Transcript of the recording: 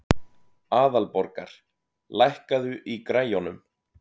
Aðalborgar, lækkaðu í græjunum.